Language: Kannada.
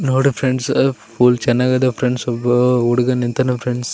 ನೋಡಿ ಫ್ರೆಂಡ್ಸ್ ಫೂಲ್ ಚೆನ್ನಾಗಿದೆ ಫ್ರೆಂಡ್ಸ್ ಒಬ್ಬ ಹುಡುಗ ನಿಂತಾನ ಫ್ರೆಂಡ್ಸ್ .